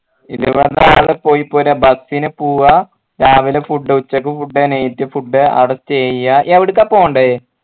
ഇരുപതാൾ പോയിപോരാ bus ന് പൂവ രാവിലെ food ഉച്ചക്ക് foodnight food അവിടെ stay ചെയ എവിട്ക്ക പോണ്ടേ